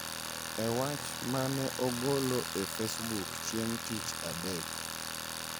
E wach ma ne ogolo e Facebook chieng’ tich adek,